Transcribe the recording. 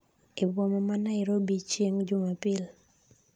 eboma ma Nairobi chieng' jumapil